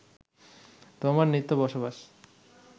তোমার নিত্য বসবাস